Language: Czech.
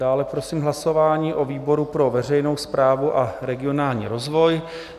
Dále prosím hlasování o výboru pro veřejnou správu a regionální rozvoj.